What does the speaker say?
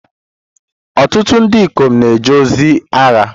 Ọtụtụ ndị ikom na-eje ozi agha.